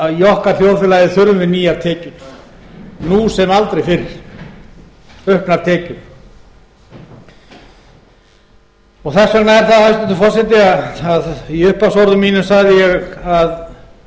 að í okkar þjóðfélagi þurfum við nýjar tekjur nú sem aldrei fyrr auknar tekjur þess vegna er það hæstvirtur forseti að í upphafsorðum mínum sagði ég að oft hefði